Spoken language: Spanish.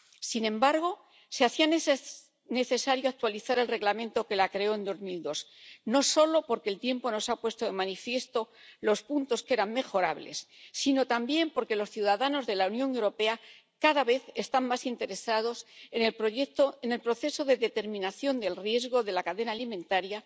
Sin embargo, se hacía necesario actualizar el Reglamento que la creó en 2002, no solo porque el tiempo nos ha puesto de manifiesto los puntos que eran mejorables, sino también porque los ciudadanos de la Unión Europea cada vez están más interesados en el proceso de determinación del riesgo de la cadena alimentaria